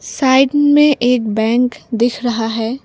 Side में एक bank दिख रहा है।